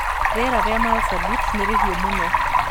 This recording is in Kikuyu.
Rĩera rĩa Marsabit nĩrĩhiũ mũno